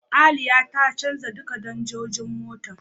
Aliya ta canja duka danjojin motar.